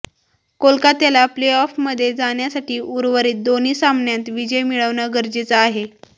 कोलकात्याला प्लेऑफमध्ये जाण्यासाठी उर्वरित दोन्ही सामन्यांत विजय मिळवणं गरजेचं आहे